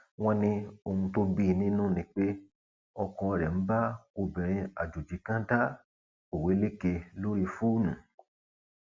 wọn ní ohun tó bí i nínú ni pé ọkọ rẹ ń bá obìnrin àjòjì kan dá òweléke lórí fóònù